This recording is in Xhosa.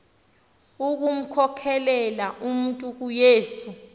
ukumkhokelela umntu kuyesu